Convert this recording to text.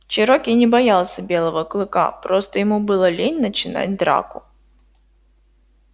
чероки не боялся белого клыка просто ему было лень начинать драку